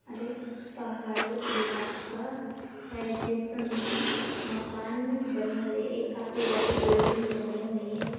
अरे पहाड़े इलखा है जिसमे मकान बने हुए एक काफी बड़ी बिल्डिंग बनी हुए है।